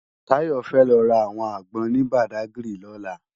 Tayo fè lò rá áwòn ágbòn ni Bàdágiri lòlá